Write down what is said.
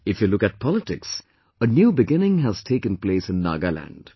If you look at politics, a new beginning has taken place in Nagaland